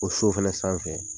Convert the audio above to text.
O so fɛnɛ sanfɛ.